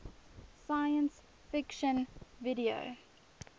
science fiction video